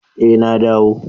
Eh na dawo.